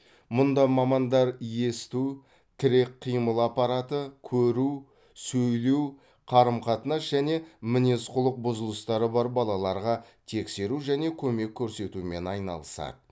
мұнда мамандар есту тірек қимыл аппараты көру сөйлеу қарым қатынас және мінез құлық бұзылыстары бар балаларға тексеру және көмек көрсетумен айналысады